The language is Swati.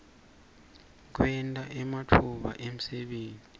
kwenta ematfuba emsebenti